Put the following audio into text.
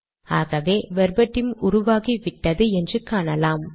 ஆகவே வெர்பட்டிம் உருவாகிவிட்டது என்று காணலாம்